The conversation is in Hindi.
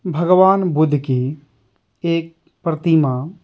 भगवान बुद्ध की एक प्रतिमा --